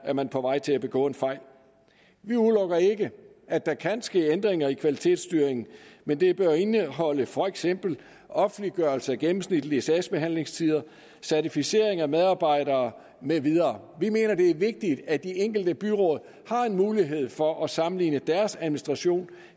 er man på vej til at begå en fejl vi udelukker ikke at der kan ske ændringer i kvalitetsstyringen men det bør indeholde for eksempel offentliggørelse af gennemsnitlige sagsbehandlingstider certificering af medarbejdere med videre vi mener at det er vigtigt at de enkelte byråd har en mulighed for at sammenligne deres administration